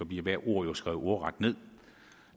bliver hvert ord jo skrevet ordret ned